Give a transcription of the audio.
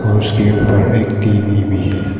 उसके ऊपर एक टी_वी भी है।